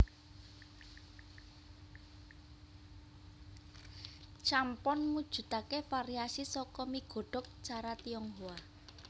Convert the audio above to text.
Champon mujudake variasi saka mi godhog cara Tionghoa